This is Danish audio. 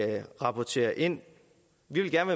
rapportere ind vi vil gerne